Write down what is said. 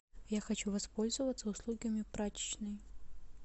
я хочу воспользоваться услугами прачечной